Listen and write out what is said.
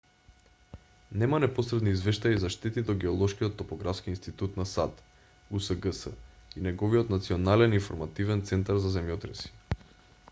нема непосредни извештаи за штети до геолошкиот топографски институт на сад usgs и неговиот национален информативен центар за земјотреси